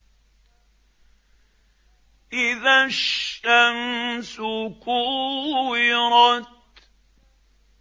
إِذَا الشَّمْسُ كُوِّرَتْ